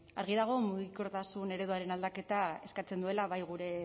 argi dago mugikortasun ereduaren aldaketa eskatzen duela bai gure